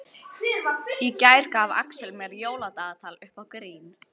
Í gær gaf Axel mér jóladagatal upp á grín.